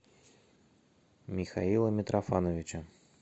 михаила митрофановича